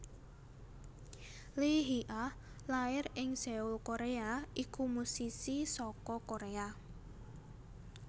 Lee Hee Ah lair ing Seoul Koréa iku musisi saka Koréa